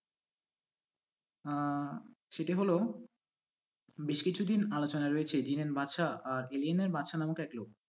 আহ সেটি হল বেশ কিছুদিন আলোচনায় রয়েছে বাদসাহ আর বাদসা নাম নামেক এক লোক।